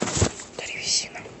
древесина